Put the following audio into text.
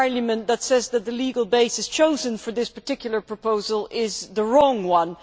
effect that the legal basis chosen for this particular proposal is the wrong one.